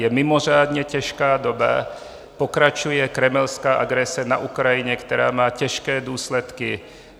Je mimořádně těžká doba, pokračuje kremelská agrese na Ukrajině, která má těžké důsledky.